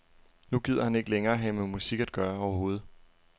Nu gider han ikke længere have med musik at gøre overhovedet.